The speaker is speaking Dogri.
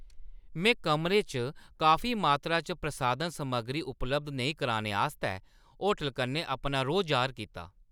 में कमरे च काफी मात्तरा च प्रसाधन समग्री उपलब्ध नेईं कराने आस्तै होटलै कन्नै अपना रोह् जाह्‌र कीता।